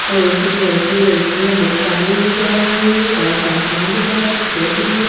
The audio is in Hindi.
और कुछ लड़के लड़कियां बैक टांगे हुए जा रहे हैं बड़ा सा आसमान दिख रहा है कुछ पेड़ दिख रहे हैं।